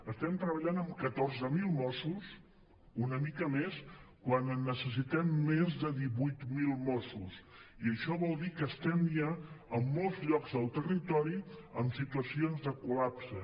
estem treballant amb catorze mil mossos una mica més quan necessitem més de divuit mil mossos i això vol dir que estem ja en molts llocs del ter·ritori en situacions de col·lapse